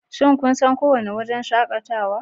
Shin kun san kowane wurin shakatawa